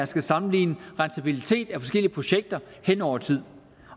skal sammenligne rentabilitet af forskellige projekter hen over tid